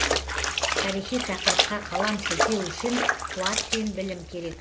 тарихи тақырыпқа қалам сілтеу үшін қуат пен білім керек